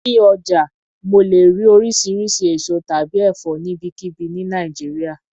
Ní ọjà mo lè rí oríṣiríṣi èso tàbí ẹ̀fọ́ níbikíbi ni Nàìjíríà.